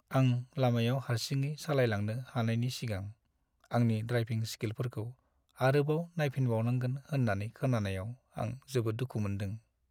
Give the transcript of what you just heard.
आं लामायाव हारसिङै सालायलांनो हानायनि सिगां आंनि ड्रायभिं स्किलफोरखौ आरोबाव नायफिनबावनांगोन होन्नानै खोनानायाव आं जोबोद दुखु मोनदों।